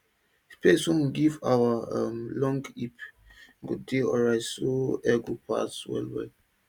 space wey we go give our um long heap go dey alrite so air go dey pass well well